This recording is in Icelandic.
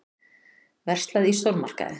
Verslað í stórmarkaði.